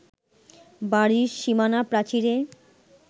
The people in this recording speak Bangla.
বাড়ির সীমানা প্রাচীরে